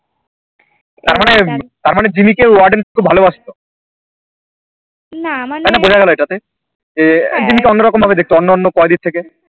তার মানে তার মনে জিম্মিকে Warden খুব ভালোবাসতো মানে বোঝা গেলো ইটা তে যে জিম্মি কে অন্য রকম ভাবে দেখতো অন্য কোইডি থেকে